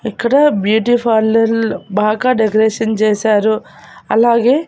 ఇక్కడ beauty parlour బాగా decoration చేశారు అలాగే--